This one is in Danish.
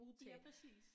Ja præcis